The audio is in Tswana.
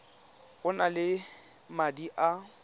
o na le madi a